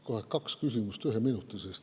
Kohe kaks küsimust ühe minuti sees.